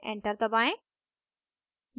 enter दबाएं